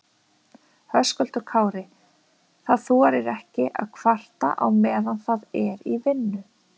Höskuldur Kári: Það þorir ekki að kvarta á meðan það er í vinnu?